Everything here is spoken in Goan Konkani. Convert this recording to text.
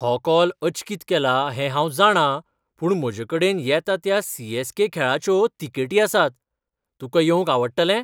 हो कॉल अचकीत केला हें हांव जाणां पूण म्हजेकडेन येता त्या सी. ऍस. के. खेळाच्यो तिकेटी आसात. तुका येवंक आवडटलें?